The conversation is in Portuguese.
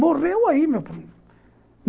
Morreu aí, meu primo.